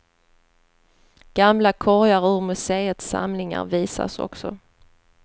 Gamla korgar ur museets samlingar visas också.